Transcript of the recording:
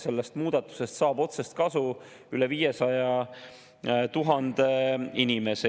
Sellest muudatusest saab otsest kasu üle 500 000 inimese.